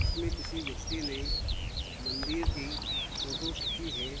इसमें किसी व्यक्ति ने मंदिर की फोटो खिंची है।